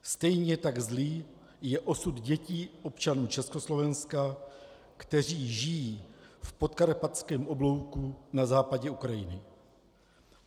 Stejně tak zlý je osud dětí občanů Československa, kteří žijí v podkarpatském oblouku na západě Ukrajiny.